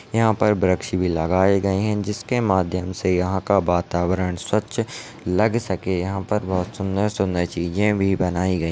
यहाँ पर वृक्ष भी लगाये गये है जिसके माध्यम से यहाँ का वातावरण स्वच्छ लग सके यहाँ पर बहुत सुंदर -सुंदर चीजें भी बनाई गई --